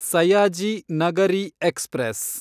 Sayaji Nagari express